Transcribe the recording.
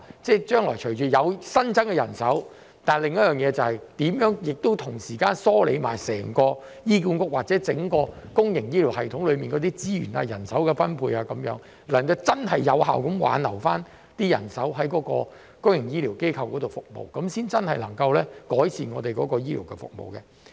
雖然將來會有新增的人手，但我們亦要同時梳理整個醫管局或整個公營醫療系統的資源、人手分配，以致能夠真正有效地挽留人手在公營醫療機構服務，這樣才真正能夠改善我們的醫療服務。